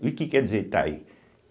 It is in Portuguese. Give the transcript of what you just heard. E o que quer dizer Itaí?